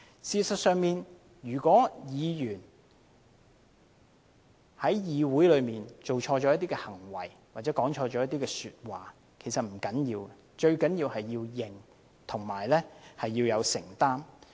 事實上，如果議員在議會內做錯事或說錯話，其實不要緊，最重要的是承認和承擔。